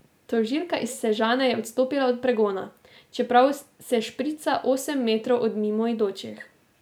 Tožilka iz Sežane je odstopila od pregona, čeprav se šprica osem metrov od mimoidočih.